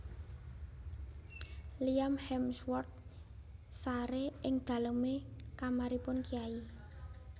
Liam Hemsworth sare ing daleme kamaripun kyai